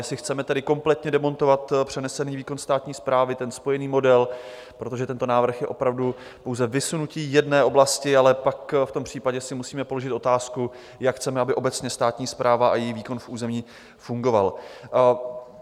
Jestli chceme tedy kompletně demontovat přenesený výkon státní správy, ten spojený model, protože tento návrh je opravdu pouze vysunutí jedné oblasti, ale pak v tom případě si musíme položit otázku, jak chceme, aby obecně státní správa a její výkon v území fungovaly.